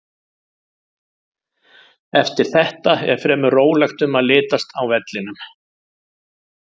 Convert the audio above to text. Eftir þetta er fremur rólegt um að litast á vellinum.